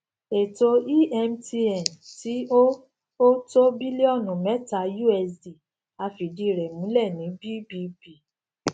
ètò emtn tí ó ó tó bílíọnù meta usd a fìdí rẹ múlẹ ní bbb